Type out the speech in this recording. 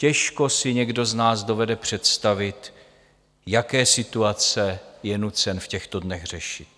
Těžko si někdo z nás dovede představit, jaké situace je nucen v těchto dnech řešit.